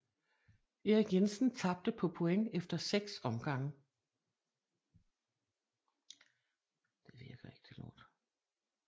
Erik Jensen tabte på point efter 6 omgange